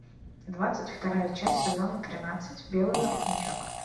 двадцать вторая часть сезона тринадцать белый воротничок